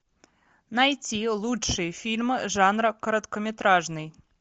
найти лучшие фильмы жанра короткометражный